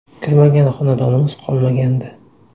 Kirmagan xonadonimiz qolmagandi.